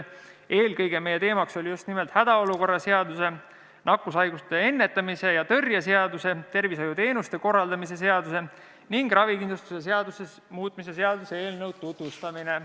Eelkõige oli teemaks just hädaolukorra seaduse, nakkushaiguste ennetamise ja tõrje seaduse, tervishoiuteenuste korraldamise seaduse ning ravikindlustuse seaduse muutmise seaduse eelnõu tutvustamine.